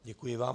Děkuji vám.